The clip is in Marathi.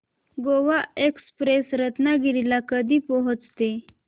गोवा एक्सप्रेस रत्नागिरी ला कधी पोहचते